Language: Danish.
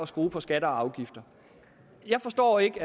skrue på skatter og afgifter jeg forstår ikke